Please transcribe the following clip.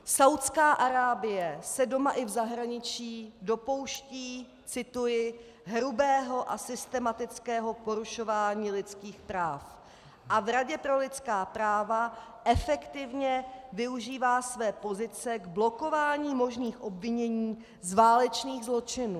Saúdská Arábie se doma i v zahraničí dopouští, cituji, hrubého a systematického porušování lidských práv a v Radě pro lidská práva efektivně využívá své pozice k blokování možných obvinění z válečných zločinů.